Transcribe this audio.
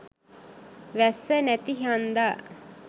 වැස්ස නැති හන්දා